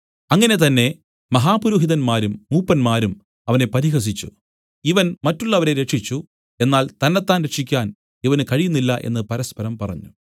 അങ്ങനെ തന്നെ മഹാപുരോഹിതന്മാരും മൂപ്പന്മാരും അവനെ പരിഹസിച്ചു ഇവൻ മറ്റുള്ളവരെ രക്ഷിച്ചു എന്നാൽ തന്നെത്താൻ രക്ഷിക്കാൻ ഇവന് കഴിയുന്നില്ല എന്നു പരസ്പരം പറഞ്ഞു